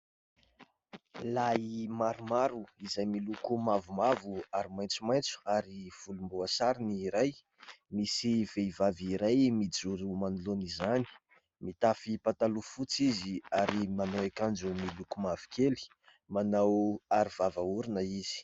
Lay maromaro izay miloko mavomavo ary maitsomaitso ary volomboasary ny iray, misy vehivavy iray mijoro manoloana izany, mitafy pataloha fotsy izy ary manao akanjo miloko mavokely, manao aro arovava orona izy.